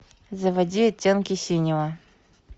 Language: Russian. заводи оттенки синего